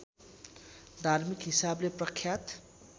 धार्मिक हिसाबले प्रख्यात